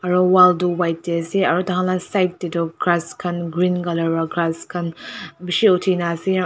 aro wall tuh white dae ase aro taikhan la side dae tuh grass khan green colour pra grass khan beshi uthina ase.